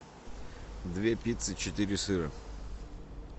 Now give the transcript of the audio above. две пиццы четыре сыра